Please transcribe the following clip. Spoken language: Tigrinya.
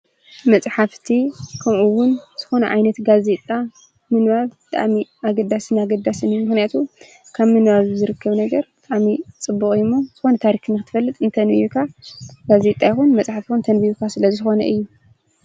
መፅሓፍቲ ከምኡ እውን ዝኮነ ዓይነት ጋዜጣ ምንባብ ብጣዕሚ አገዳስን አገዳስን እዩ። ምክንያቱ ካብ ምንባብ ዝርከብ ነገር ብጣዕሚ ፅቡቅ እዩ። ዝኮነ ታሪክ ንክትፈልጥ እንተኣንቢብካ፣ ጋዜጣ ይኹን መፅሓፍ ይኹን እንተአንቢብካ ስለዝኾነ እዩ።